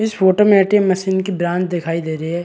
इस फोटो में A. T. M machine की ब्रांच दिखाई दे रही है।